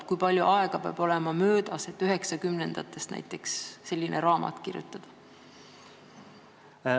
Ja kui palju aega peab olema möödas, et näiteks 1990-ndatest selline raamat kirjutada?